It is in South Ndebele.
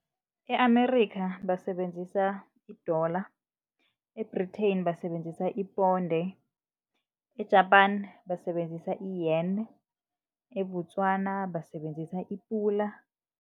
E-Amerikha basebenzisa idola, e-Britain basebenzisa iponde, e-Japan basebenzisa iyeni, eBotswana basebenzisa ipula.